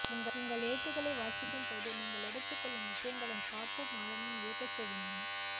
உங்கல் எழுத்துக்களை வாசிக்கும்போது நீங்கள் எடுத்துக்கொள்ளும் விஷயங்களின் பாப்பும் ஆழமும் வியக்கச்செய்கின்றன